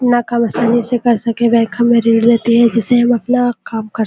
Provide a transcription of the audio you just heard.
अपना काम आसानी से कर सकेगा रहती है जिसे हम अपना काम कर --